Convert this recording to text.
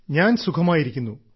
ഞാൻ സുഖമായിരിക്കുന്നു